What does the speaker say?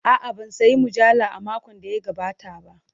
A'a, ban sayi mujalla a makon da ya gabata ba.